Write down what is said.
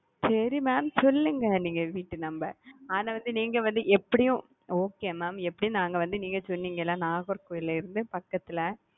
செரிங்க mam சொல்லுங்க நீங்க வீட்டு நம்பர் ஆனா வந்து நீங்க வந்து எப்படியும் okay mam எப்படியும் நாங்க வந்து நீங்க சொன்னீங்க ல நாகர்கோயில் ல இருந்து பக்கத்துல.